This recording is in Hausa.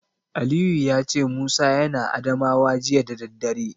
Aliyu ya ce Musa yana Adamawa jiya da daddare.